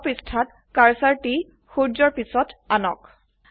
draw পৃষ্ঠাযত cursor টি সূৰ্যৰ পিছত আনক